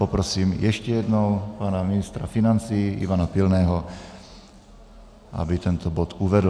Poprosím ještě jednou pana ministra financí Ivana Pilného, aby tento bod uvedl.